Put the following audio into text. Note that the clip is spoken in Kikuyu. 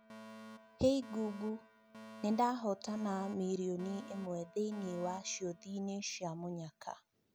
hey google Nĩndahotana mirioni ĩmwe thĩinĩ wa ciũthi-inĩ cia munyaka